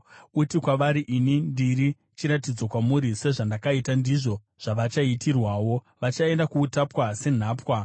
Uti kwavari, ‘Ini ndiri chiratidzo kwamuri.’ “Sezvandakaita, ndizvo zvavachaitirwawo. Vachaenda kuutapwa senhapwa.